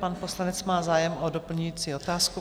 Pan poslanec má zájem o doplňující otázku.